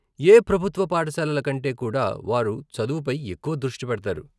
ఏ ప్రభుత్వ పాఠశాలల కంటే కూడా వారు చదువుపై ఎక్కువ దృష్టి పెడతారు.